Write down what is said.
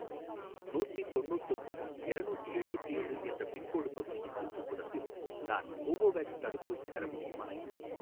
நூத்திதொண்ணூத்தொம்போது எரநூத்தி எழுவத்தேழு என்ற பின்கோடு பகுதியின் சுற்றுப்புறத்தில் நான் கோவோவேக்ஸ் தடுப்பூசி பெற முடியுமா?